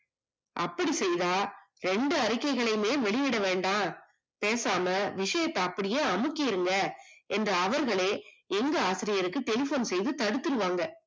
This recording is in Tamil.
அப்படி செய்தா இரண்டு அறிக்கைகளையுமே வெளியிட வேண்டாம், பேசாம விஷயத்த அப்பிடியே அமிக்கிடுங்க என்று அவர்களே எங்க ஆசிரியர்க்கு tension செய்து தடுத்துடுவாங்க